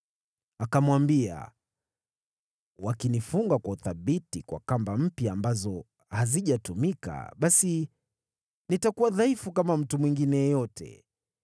Akamwambia, “Wakinifunga kwa uthabiti kwa kamba mpya ambazo hazijatumika, basi nitakuwa dhaifu kama mtu mwingine yeyote.”